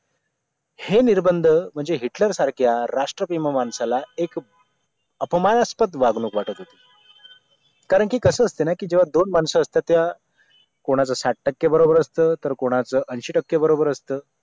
हे निर्बंध म्हणजे हिटलर सारख्या राष्ट्रप्रेम माणसाला एक अपमानस्पद वागणूक वाटत होती कारण की कसं असतं ना की जेव्हा दोन माणसं असतात त्या कोणाचा साठ टक्के बरोबर असतं तर कुणाचा ऐंशी टक्के बरोबर असतं